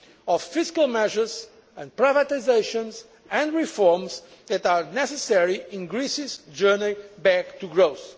and IMF, of fiscal measures, privatisations and reforms that are necessary in Greece's journey back